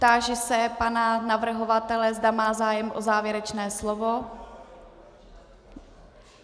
Táži se pana navrhovatele, zda má zájem o závěrečné slovo.